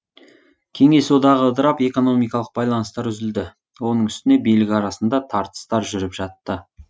кеңес одағы ыдырап экономикалық байланыстар үзілді оның үстіне билік арасында тартыстар жүріп жатты